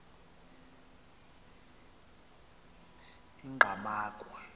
engqamakhwe